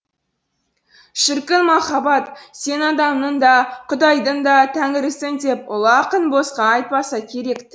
шіркін махаббат сен адамның да құдайдың да тәңірісің деп ұлы ақын босқа айтпаса керек ті